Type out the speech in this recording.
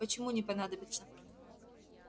почему не понадобится